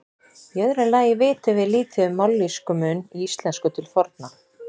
Í öðru lagi vitum við lítið um mállýskumun í íslensku til forna.